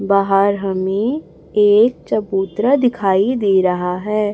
बाहर हमें एक चबूतरा दिखाई दे रहा है।